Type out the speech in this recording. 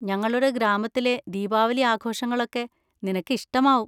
ഞങ്ങളുടെ ഗ്രാമത്തിലെ ദീപാവലി ആഘോഷങ്ങളൊക്കെ നിനക്ക് ഇഷ്ടമാവും.